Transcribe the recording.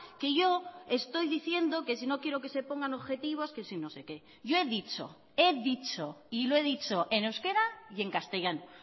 que yo estoy diciendo que si no quiero que se pongan objetivos que si no sé que yo he dicho he dicho y lo he dicho en euskera y en castellano